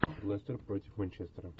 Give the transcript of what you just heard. лестер против манчестера